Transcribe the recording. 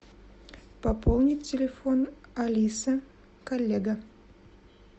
пополнить телефон алиса коллега